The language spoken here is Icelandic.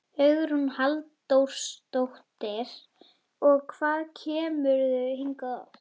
Hugrún Halldórsdóttir: Og hvað kemurðu hingað oft?